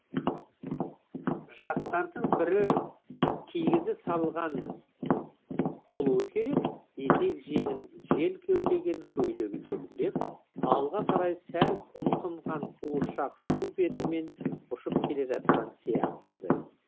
жастардың бірі кигізе салған болуы керек етек жеңін жел кеулеген көйлегі желбіреп алға қарай сәл ұмсынған қуыршақ су бетімен ұшып келе жатқан сияқты еді